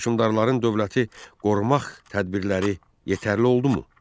Hökmdarların dövləti qorumaq tədbirləri yetərli oldumu?